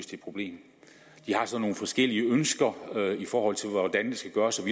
det problem de har så nogle forskellige ønsker i forhold til hvordan det skal gøres og